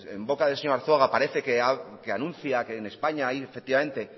en boca del señor arzuaga parece que anuncia que en españa hay efectivamente